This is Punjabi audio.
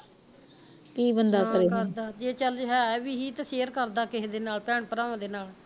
ਨਾ ਕਰਦਾ ਜੇ ਚਲ ਹੈ ਵੀ ਹੀ ਤੇ share ਕਰਦਾ ਕਿਹੇ ਦੇ ਨਾਲ ਭੈਣ ਭਰਾਵਾਂ ਦੇ ਨਾਲ